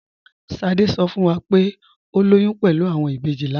Sádé sọ fún wá pé o lóyún pẹ̀lú awọn ìbéjì lánà.